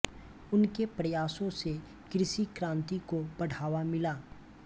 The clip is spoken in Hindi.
उनके प्रयासों से कृषि क्रांति को बढ़ावा मिला